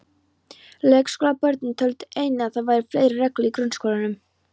Leikskólabörnin töldu einnig að það væru fleiri reglur í grunnskólanum.